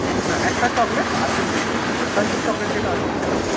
না একটা chocolate, আর তিনটে two in one। crunchy chocolate যেটা আছে না সেটা দেবেন।